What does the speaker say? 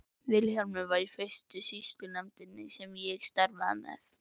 Vilhjálmur var í fyrstu sýslunefndinni sem ég starfaði með.